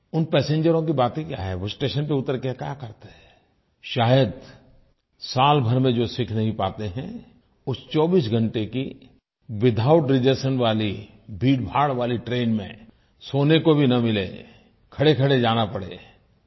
उन पैसेंजरों की बातें क्या हैं वो स्टेशन पर उतर कर क्या करते हैं शायद सालभर में जो सीख नहीं पाते हैं उस 24 घंटे की विथआउट रिजर्वेशन वाली भीड़भाड़ वाली ट्रेन में सोने को भी न मिले खड़ेखड़े जाना पड़े